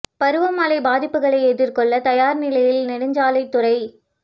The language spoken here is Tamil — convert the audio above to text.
பருவ மழை பாதிப்புகளை எதிா்கொள்ள தயாா் நிலையில் நெடுஞ்சாலைத் துறை